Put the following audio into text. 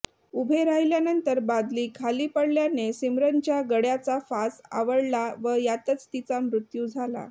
उभे राहिल्यानंतर बादली खाली पडल्याने सिमरनच्या गळ्याचा फास आवळला व यातच तिचा मृत्यू झाला